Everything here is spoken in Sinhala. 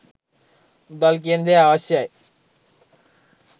මුදල් කියන දේ අවශ්‍යයි